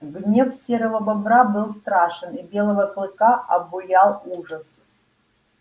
гнев серого бобра был страшен и белого клыка обуял ужас